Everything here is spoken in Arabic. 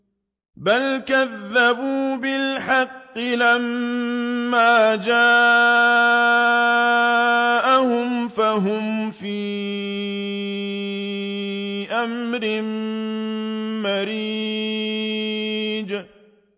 بَلْ كَذَّبُوا بِالْحَقِّ لَمَّا جَاءَهُمْ فَهُمْ فِي أَمْرٍ مَّرِيجٍ